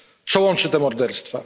Co łączy te morderstwa?